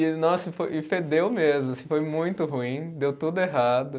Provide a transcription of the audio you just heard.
E nossa e foi, e fedeu mesmo assim, foi muito ruim, deu tudo errado.